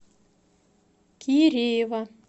киреева